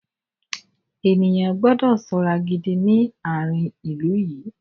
Ènìyàn gbọ́dọ̀ ṣọ́ra gidi ní àárín ilú yìí.